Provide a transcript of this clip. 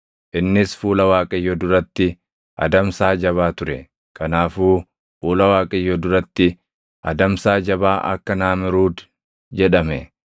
Innis fuula Waaqayyoo duratti adamsaa jabaa ture; kanaafuu, “Fuula Waaqayyoo duratti adamsaa jabaa akka Naamruudi” jedhame.